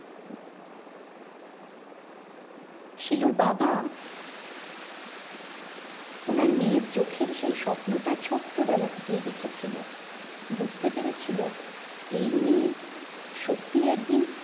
শিলুর বাবা ওনার মেয়ের চোখের সেই স্বপ্নটা ছোট্টো বেলা থেকেই দেখেছিলো বুঝতে পেরেছিলো এই মেয়ে সত্যি একদিন